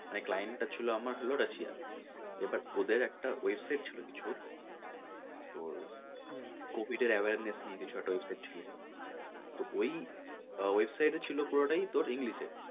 মানে client টা ছিল আমার হলো Russia র এবার ওদের একটা website ছিল কিছুর তোর covid এর awareness নিয়ে কিছু একটা ছিল তো ওই website এ ছিল পুরোটাই তোর english এ,